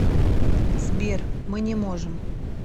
сбер мы не можем